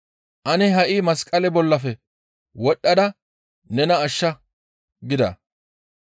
«Ane ha7i masqale bollafe wodhdhada nena ashsha» gida.